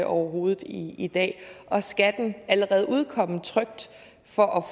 overhovedet i i dag og skal den allerede udkomme trykt for at